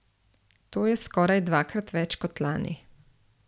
To je skoraj dvakrat več kot lani.